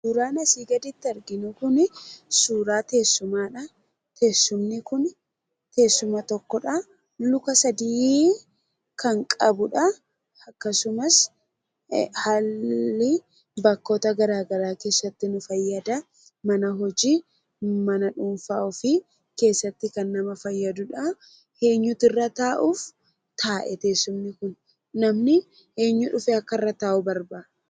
Suuraan asii gaditti arginu kunii suuraa teessuumaadhaa. Teessumni kun teessuma tokkodha. Luka sadii kan qabudhaa. Akkasumas haalli bakkoota gara garaa keessatti nu fayyadaa. mana hojii mana dhuunfaa ofii keessatti kan nama fayyadudhaa. Eenyutu irra ta'uuf taa'e teessumni kun? Namni eenyu dhufee akka irra taa'u barbaadu?